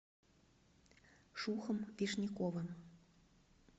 шухом вишняковым